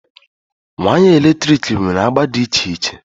Waya eletrik nwere agba dị iche iche